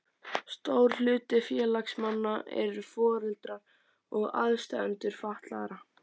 Stór hluti félagsmanna eru foreldrar og aðstandendur fatlaðra.